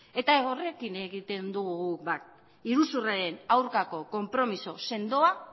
eta horrekin egiten dugu guk bat iruzurraren aurkako konpromiso sendoa